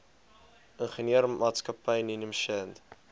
ingenieursmaatskappy ninham shand